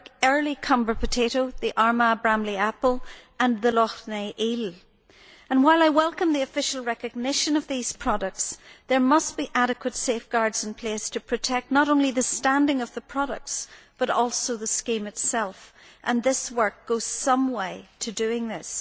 early Comber potato, the Armagh Bramley apple and the Lough Neagh eel. While I welcome the official recognition of these products, there must be adequate safeguards in place to protect not only the standing of the products but also the scheme itself. This report goes some way to addressing that.